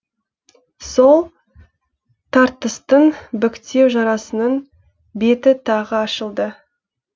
сол тартыстың біктеу жарасының беті тағы ашылды